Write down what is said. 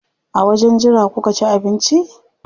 A wajen jira kuka ci abinci?